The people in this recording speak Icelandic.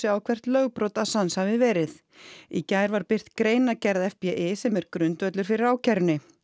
á hvert lögbrot Assange hafi verið í gær var birt greinargerð FBI sem er grundvöllur fyrir ákærunni